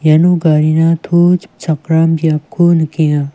iano garina to chipchakram biapko nikenga.